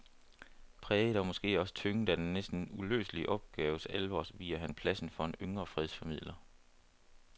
Præget og måske også tynget af den næsten uløselige opgaves alvor viger han pladsen for en yngre fredsformidler.